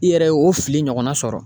I yɛrɛ ye o fili ɲɔgɔnna sɔrɔ